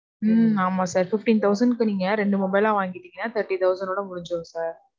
உம் ஆமா sir. fifteen-thousand க்கு நீங்க ரெண்டு mobile ஆ வாங்கிட்டீங்க, thirty-thousand ஒட முடிஞ்சிரும் sir.